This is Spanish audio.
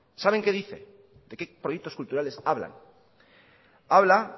saben qué dice de qué proyectos culturales habla habla